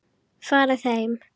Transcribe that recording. Farið heim!